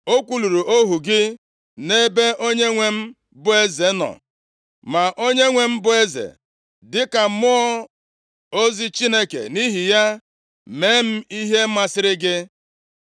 O kwuluru ohu gị nʼebe onyenwe m bụ eze nọ. Ma onyenwe m bụ eze dịka mmụọ ozi Chineke, nʼihi ya mee m ihe masịrị gị.